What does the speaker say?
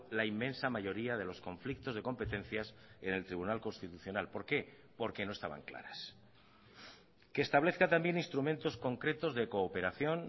la inmensa mayoría de los conflictos de competencias en el tribunal constitucional por qué porque no estaban claras que establezca también instrumentos concretos de cooperación